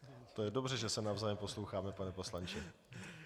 To je dobře, že se navzájem posloucháme, pane poslanče.